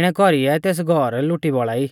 इणै कौरीऐ तेस घौर लुटी बौल़ा ई